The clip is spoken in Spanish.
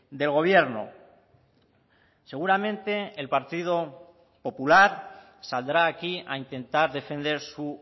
del gobierno seguramente el partido popular saldrá aquí a intentar defender su